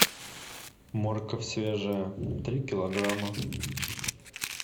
морковь свежая три килограмма